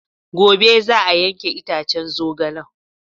Gobe za a yanke itacen zogalen.